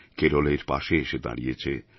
কেরলের পাশে এসে দাঁড়িয়েছে